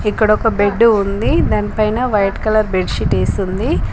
ఇక్కడ ఒక బెడ్డు ఉంది దాని పైన వైట్ కలర్ బెడ్ షీట్ వేసి ఉంది.